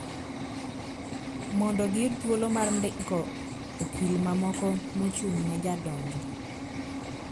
Mondo giyud thuolo mar ndiko okil mamoko mochung` ne jadonjo